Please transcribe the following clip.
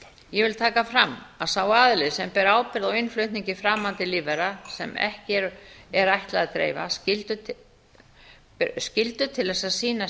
ég vil taka fram að sá aðili sem ber ábyrgð á innflutningi framandi lífvera sem ekki er ætlað að dreifa skyldu til að sýna